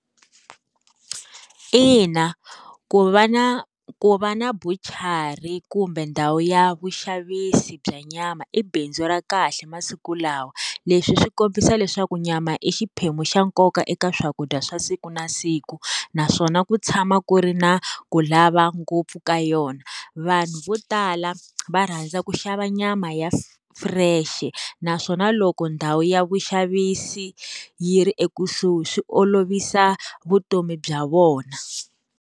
Ina, ku va na ku va na buchara kumbe ndhawu ya vuxavisi bya nyama i bindzu ra kahle masiku lawa leswi swi kombisa leswaku nyama i xiphemu xa nkoka eka swakudya swa siku na siku na naswona ku tshama ku ri na ku lava ngopfu ka yona vanhu vo tala va rhandza ku xava nyama ya fresh-e naswona loko ndhawu ya vuxavisi yi ri ekusuhi swi olovisa vutomi bya vona.